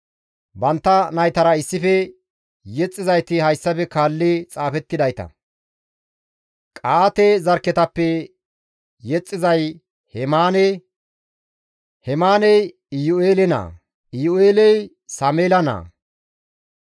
Bantta naytara issife yexxizayti hayssafe kaalli xaafettidayta; Qa7aate zarkketappe yexxizay Hemaane; Hemaaney Iyu7eele naa; Iyu7eeley Sameela naa;